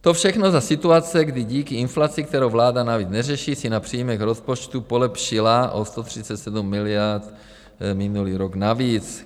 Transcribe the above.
To všechno za situace, kdy díky inflaci, kterou vláda navíc neřeší, si na příjmech rozpočtu polepšila o 137 miliard minulý rok navíc.